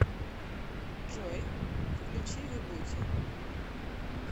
джой включи вибути